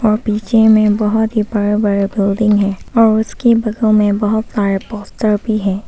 और पीछे में बहुत ही बड़ा बड़ा बिल्डिंग हैं और उसके बगल में बहुत सारा पोस्टर भी हैं।